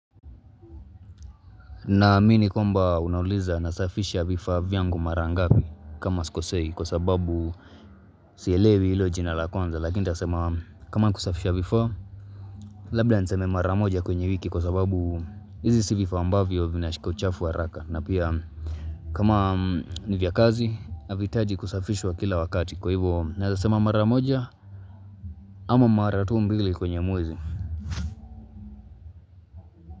Naamini kwamba unauliza nasafisha vifaa vyangu mara ngapi kama sikosei kwa sababu sielewi hilo jina la kwanza lakini nitasema kama ni kusafisha vifaa labda niseme mara moja kwenye wiki kwa sababu hizi si vifaa ambavyo vinashika uchafu haraka na pia kama nivya kazi havihitaji kusafishwa kila wakati kwa hivyo naweza sema mara moja ama mara tu mbili kwenye mwezi.